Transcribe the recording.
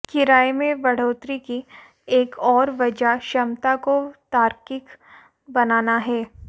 किराये में बढ़ोतरी की एक और वजह क्षमता को तार्किक बनाना है